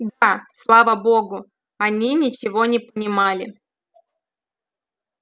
да слава богу они ничего не понимали